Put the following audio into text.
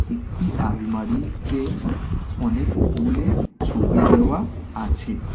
একটি আলমারিতে ফু-ফু অনেক ফুলের ছবি দেওয়া আছে।